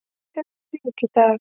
Erum við rík í dag?